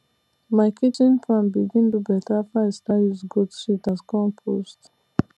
my kitchen farm begin do better after i start use goat shit as compost